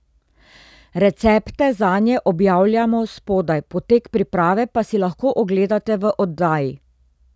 Recepte zanje objavljamo spodaj, potek priprave pa si lahko ogledate v oddaji.